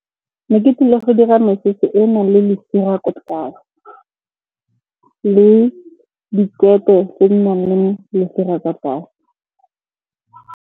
Ne ke tlile go dira mesese e e nang le lesira ko tlase. Le dikete tse di nang le lesira ka tlase.